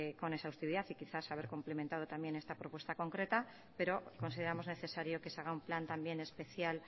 con exhaustividad y quizás haber cumplimentado también esta propuesta concreta pero consideramos necesario que se haga un plan también especial